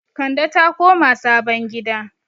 Kande ta koma sabon gida